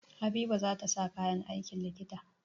Habiba za ta sa kayan aikin likita.